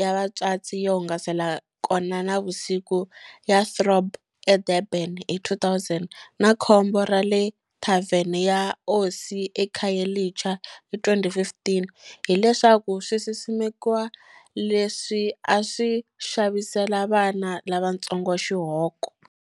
ya vatswatsi yo hungasela kona nivusiku ya Throb eDurban hi 2000, na khombo ra le thavenini ya Osi eKhayelitsha hi 2015, hileswaku swisimekiwa leswi a swi xavisela vana lavantsongo xihoko.